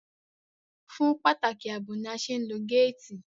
Fún pàtàkì àbò ni a ṣe ń lo gáàtì